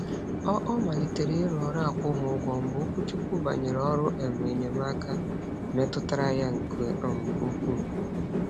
Ọ Ọ malitere iru ọrụ akwụghị ụgwọ mgbe okwuchukwu banyere ọrụ um enyemaaka meturu ya nke um ukwuu.